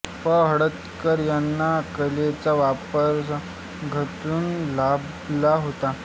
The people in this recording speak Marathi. पं हळदणकर यांना कलेचा वारसा घरातूनच लाभला होता